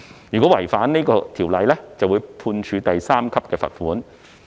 若違反有關法例，可被判處第3級罰款。